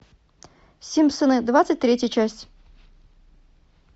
симпсоны двадцать третья часть